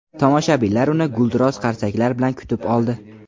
tomoshabinlar uni gulduros qarsaklar bilan kutib oldi.